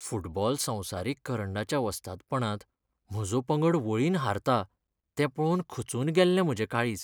Football संवसारीक करंडाच्या वस्तादपणांत म्हजो पंगड वळीन हारता तें पळोवन खचून गेल्लें म्हजें काळीज.